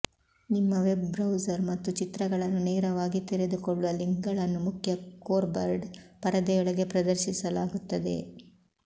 ನಿಮ್ಮ web browser ಮತ್ತು ಚಿತ್ರಗಳನ್ನು ನೇರವಾಗಿ ತೆರೆದುಕೊಳ್ಳುವ ಲಿಂಕ್ಗಳನ್ನು ಮುಖ್ಯ ಕೋರ್ಬರ್ಡ್ ಪರದೆಯೊಳಗೆ ಪ್ರದರ್ಶಿಸಲಾಗುತ್ತದೆ